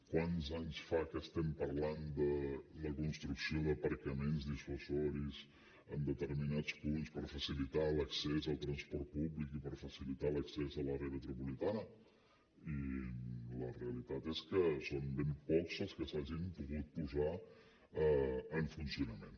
quants anys fa que estem parlant de la construcció d’aparcaments dissuasius en determinats punts per facilitar l’accés al transport públic i per facilitar l’accés a l’àrea metropolitana i la realitat és que són ben pocs els que s’hagin pogut posar en funcionament